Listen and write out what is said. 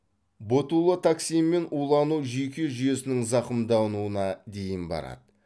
ботулотоксинмен улану жүйке жүйесінің зақымдануына дейін барады